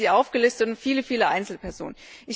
ich habe sie aufgelistet und viele, viele Einzelpersonen.